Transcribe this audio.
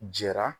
Jɛra